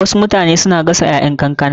Wasu mutane suna gasa ƴaƴan kankana.